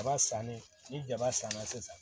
Kaba sannen ni jaba sanna sisan